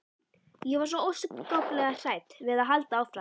Ég var svo óskaplega hrædd við að halda áfram.